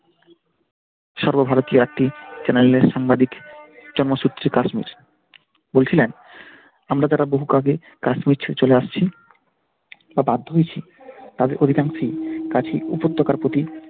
সর্বভারতীয় একটি চ্যানেলের সাংবাদিক জন্মসূত্রে কাশ্মীর বলছিলেন আমরা যারা বহু আগে কাশ্মীর ছেড়ে চলে আসছি বা বাধ্য হয়েছি তাদের অধিকাংশই কাছের উপত্যকার প্রতি,